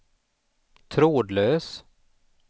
trådlös